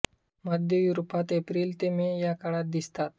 मध्य युरोपात एप्रिल ते मे या काळात दिसतात